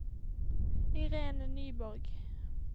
Irene Nyborg